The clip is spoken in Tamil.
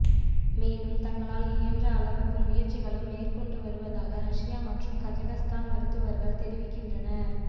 மேலும் தங்களால் இயன்ற அனைத்து முயற்சிகளும் மேற்கொண்டு வருவதாக ரஷ்யா மற்றும் கஜகஸ்தான் மருத்துவர்கள் தெரிவிக்கின்றனர்